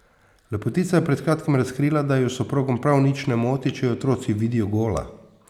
Lepotica je pred kratkim razkrila, da ju s soprogom prav nič ne moti, če ju otroci vidijo gola.